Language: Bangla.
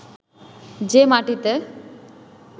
যে মাটিতে